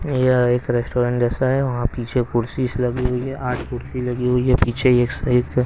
यह एक रेस्टोरेंट जैसा है वहां पीछे कुर्सीस लगी हुई है आठ कुर्सी लगी हुई है पीछे एक सहित--